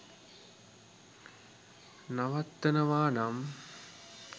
නවත්තනවා නම්